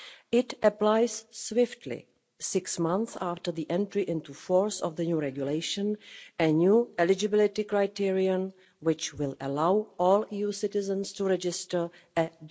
It applies swiftly, six months after the entry into force of the new regulation, a new eligibility criterion, which will allow all EU citizens to register a